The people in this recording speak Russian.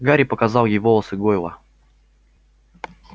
гарри показал ей волосы гойла